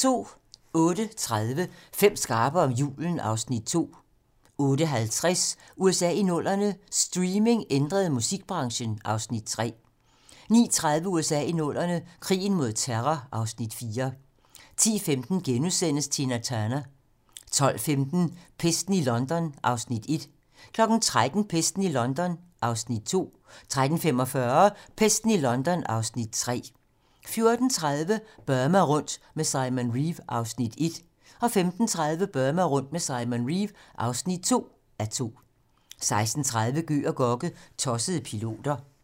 08:30: Fem skarpe om julen (Afs. 2) 08:50: USA i 00'erne - streaming ændrede musikbranchen (Afs. 3) 09:30: USA i 00'erne - krigen mod terror (Afs. 4) 10:15: Tina Turner * 12:15: Pesten i London (Afs. 1) 13:00: Pesten i London (Afs. 2) 13:45: Pesten i London (Afs. 3) 14:30: Burma rundt med Simon Reeve (1:2) 15:30: Burma rundt med Simon Reeve (2:2) 16:30: Gøg og Gokke - Tossede piloter